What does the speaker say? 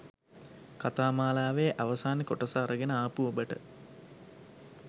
කතා මාලාවේ අවසාන කොටස අරගෙන ආපු ඔබට